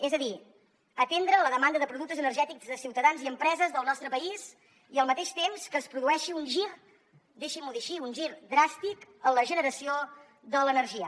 és a dir atendre la demanda de productes energètics de ciutadans i empreses del nostre país i al mateix temps que es produeixi un gir deixin m’ho dir així dràstic en la generació de l’energia